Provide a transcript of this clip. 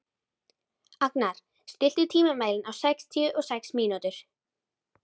Agnar, stilltu tímamælinn á sextíu og sex mínútur.